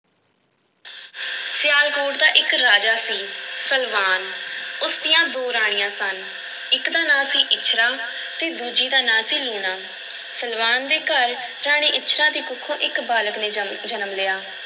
ਸਿਆਲਕੋਟ ਦਾ ਇੱਕ ਰਾਜਾ ਸੀ, ਸਲਵਾਨ, ਉਸ ਦੀਆਂ ਦੋ ਰਾਣੀਆਂ ਸਨ, ਇੱਕ ਦਾ ਨਾਂ ਸੀ ਇੱਛਰਾਂ ਅਤੇ ਦੂਜੀ ਦਾ ਨਾਂ ਸੀ ਲੂਣਾ, ਸਲਵਾਨ ਦੇ ਘਰ ਰਾਣੀ ਇੱਛਰਾਂ ਦੀ ਕੁੱਖੋਂ ਇੱਕ ਬਾਲਕ ਨੇ ਜਮ ਜਨਮ ਲਿਆ।